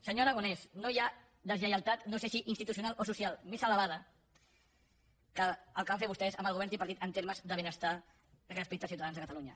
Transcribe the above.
senyor aragonès no hi ha deslleialtat no sé si institucional o social més elevada que el que van fer vostès amb el govern tripartit en termes de benestar respecte als ciutadans de catalunya